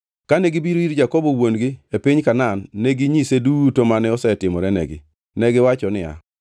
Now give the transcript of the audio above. Kane gibiro ir Jakobo wuon-gi e piny Kanaan, neginyise duto mane osetimorenegi. Negiwacho niya,